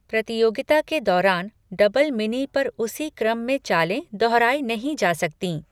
प्रतियोगिता के दौरान डबल मिनी पर उसी क्रम में चालें दोहराई नहीं जा सकतीं।